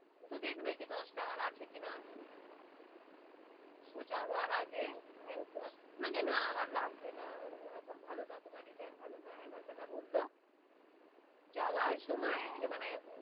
ও তো দেখবে, কি দশ টা আমার আছে কি আছে না ও যাওয়ার আগে মানে না আমার লাগবে না, এখন ভালো না, তোমার design ভালো না, হেনা-তেনা বললো যাওয়ার সময় মানে.